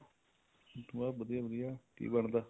ਬਸ ਵਧੀਆ ਵਧੀਆ ਕੀ ਬਣਦਾ